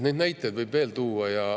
Neid näiteid võib veel tuua.